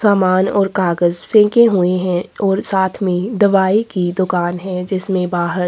सामान और कागज़ फेंके हुए है और साथ में दवाई की दुकान है जिसमे बाहर --